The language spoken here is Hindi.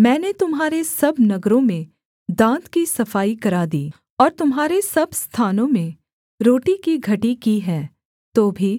मैंने तुम्हारे सब नगरों में दाँत की सफाई करा दी और तुम्हारे सब स्थानों में रोटी की घटी की है तो भी